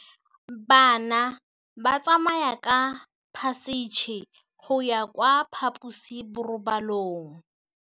Bana ba tsamaya ka phašitshe go ya kwa phaposiborobalong.